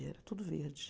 Era tudo verde.